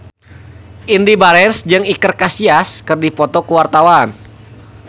Indy Barens jeung Iker Casillas keur dipoto ku wartawan